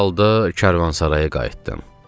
Bu halda karvansaraya qayıtdım.